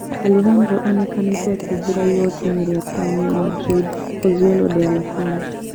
Alejandro onekete akĩingĩra igooti-inĩ rĩa tauni ya Madrid Pozuelo de Alarcon